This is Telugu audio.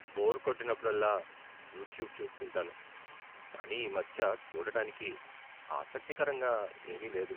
బోర్ కొట్టినప్పుడల్లా యూట్యూబ్ చూస్తుంటాను. కానీ ఈమధ్య చూడటానికి ఆసక్తికరంగా ఏమీ లేదు.